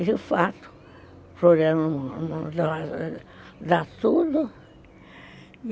E, de fato, a Floriano não dá tudo.